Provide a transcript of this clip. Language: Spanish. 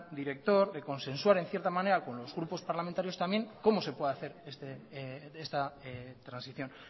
director de consensuar en cierta manera con los grupos parlamentarios también cómo se puede hacer esta transición